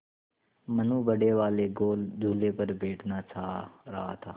मनु बड़े वाले गोल झूले पर बैठना चाह रहा था